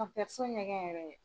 ɲɛgɛn yɛrɛ.